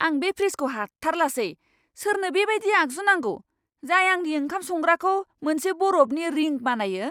आं बे फ्रिजखौ हाथारलासै! सोरनो बेबायदि आगजु नांगौ, जाय आंनि ओंखाम संग्राखौ मोनसे बरफनि रिंक बानायो?